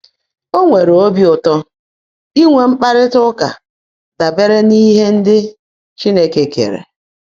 Ó nwèèré óbí ụ́tọ́ ínwé mkpárrị́tá úkà dàbèèré n’íhe ndị́ Chínekè keèré.